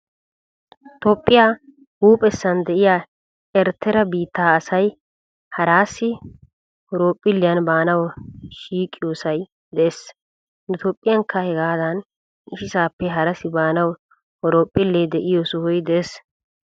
Toophphiya huuphphessan de'iya erittera biitta asay harasi horoophphilliyan baanawu shiiqiyosay de'es. Nu toophphiyankka hegaadan issisaappe harasi baanawu horoophphille de'iyoo sohoy de'es.